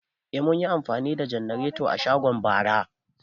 Eh, mun yi amfani da janarata a shago bara